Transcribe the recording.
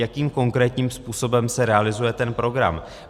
Jakým konkrétním způsobem se realizuje ten program?